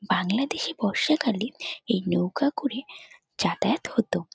বাংলাদেশে বর্ষাকালে এই নৌকা করে যাতায়াত হত।